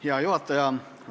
Hea juhataja!